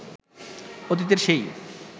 অতীতের সেই